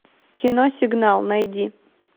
кино сигнал найди